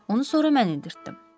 Onu sonra mən endirtdim.